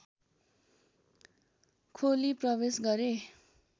खोली प्रवेश गरे